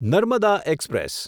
Narmada express